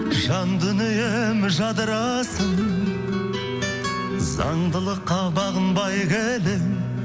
жан дүнием жадырасын заңдылыққа бағынбай келемін